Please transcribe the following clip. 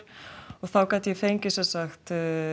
og þá gat ég fengið sem sagt